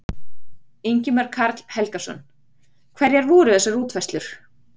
Ingimar Karl Helgason: Hverjar eru þessar útfærslur?